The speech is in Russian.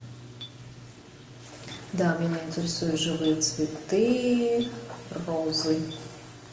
да меня интересуют живые цветы розы